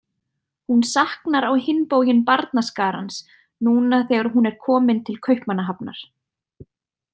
Hún saknar á hinn bóginn barnaskarans, núna þegar hún er komin til Kaupmannahafnar.